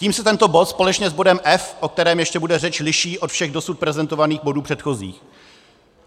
Tím se tento bod společně s bodem F, o kterém ještě bude řeč, liší od všech dosud prezentovaných bodů předchozích.